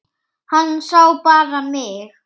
Hann sá bara mig!